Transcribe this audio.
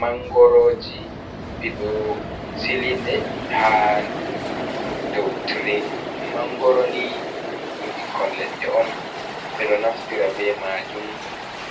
Mangoro ji ɓe ɗo sili ɗe ha dou tire, mangoro ni ɗum ɓikkon leɗɗe on, ɓeɗo naftira be majum